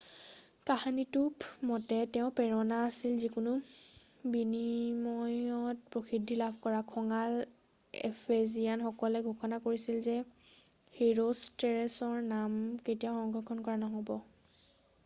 কাহিনীটো মতে তেওঁৰ প্ৰেৰণা আছিল যিকোনো বিনিময়ত প্ৰসিদ্ধি লাভ কৰা খঙাল এফেজিয়ানসকলে ঘোষণা কৰিছিল যে হিৰোষ্টৰেটছৰ নাম কেতিয়াও সংৰক্ষণ কৰা নহ'ব